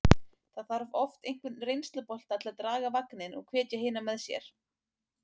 Það þarf oft einhvern reynslubolta til að draga vagninn og hvetja hina með sér.